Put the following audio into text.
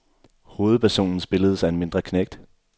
Hovedpersonen spilledes af en mindre knægt.